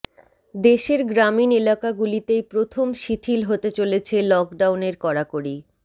দেশের গ্রামীন এলাকাগুলিতেই প্রথম শিথিল হতে চলেছে লকডাউনের কড়াকড়ি